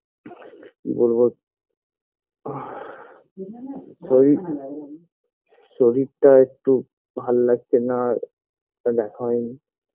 কি বলবো breathe শরীর খুব শরীরটা একটু ভাল লাগছেনা দেখা হয়ে নি